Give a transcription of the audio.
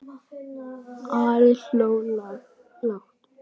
Ari hló lágt.